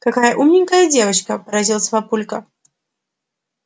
какая умненькая девочка поразился папулька